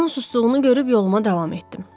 Onun susduğunu görüb yoluma davam etdim.